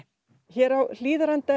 hér á Hlíðarenda